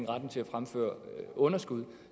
retten til at fremføre underskud